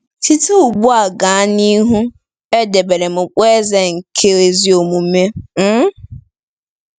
Site ugbu a gaa n'ihu, e debeere m okpueze nke ezi omume um. ”